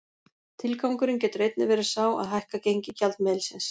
Tilgangurinn getur einnig verið sá að hækka gengi gjaldmiðilsins.